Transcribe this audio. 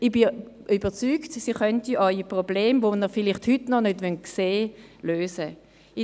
Ich bin überzeugt, dass sie Ihre Probleme, die Sie vielleicht heute noch nicht sehen wollen, lösen kann.